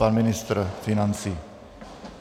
Pan ministr financí.